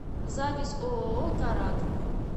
запись ооо карат